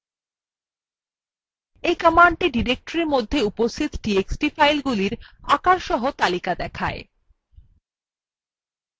এই command directory মধ্যে উপস্থিত txt ফাইলগুলির আকারসহ তালিকা দেখায়